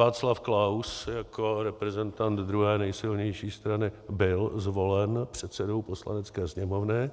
Václav Klaus jako reprezentant druhé nejsilnější strany byl zvolen předsedou Poslanecké sněmovny